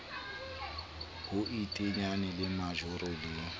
ho iteanya le majoro le